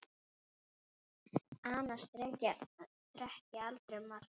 Annars drekk ég aldrei malt.